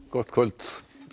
gott kvöld